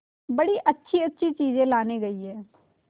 बड़ी अच्छीअच्छी चीजें लाने गई है